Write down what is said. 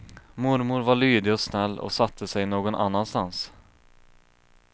Mormor var lydig och snäll och satte sig någon annanstans.